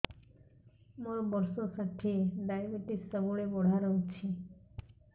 ମୋର ବର୍ଷ ଷାଠିଏ ଡାଏବେଟିସ ସବୁବେଳ ବଢ଼ା ରହୁଛି